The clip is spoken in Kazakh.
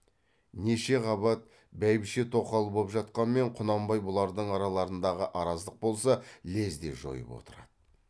неше қабат бәйбіше тоқал боп жатқанмен құнанбай бұлардың араларындағы араздық болса лезде жойып отырады